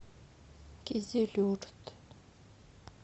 кизилюрт